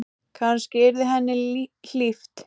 Kannski yrði henni hlíft.